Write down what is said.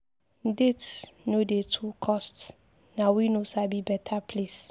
Date no dey to cost, na we no sabi beta place.